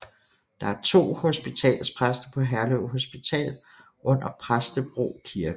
Der er to hospitalspræster på Herlev Hospital under Præstebro kirke